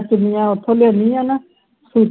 ਚੁੰਨੀਆਂ ਓਥੋਂ ਲਿਆਂਦੀ ਸੀ ਨਾ ਸੁਤੀ